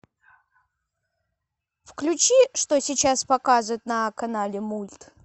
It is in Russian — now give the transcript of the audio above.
включи что сейчас показывают на канале мульт